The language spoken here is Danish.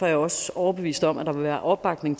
jeg også overbevist om at der vil være opbakning